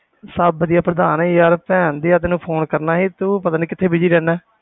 ਸਭ ਵਧੀਆ ਪ੍ਰਧਾਨ ਯਾਰ ਭੈਣਦਿਆ ਤੈਨੂੰ phone ਕਰਨਾ ਸੀ, ਤੂੰ ਪਤਾ ਨੀ ਕਿੱਥੇ busy ਰਹਿਨਾ।